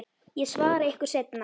Ég svara ykkur seinna.